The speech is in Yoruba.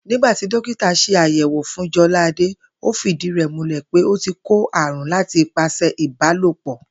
Nígbà tí dókítà s̩e àyè̩wò fún Jo̩láadé, ó fìdí rè̩ múlè̩ pé ó ti kó àrùn láti ipasè̩ ìbálòpò̩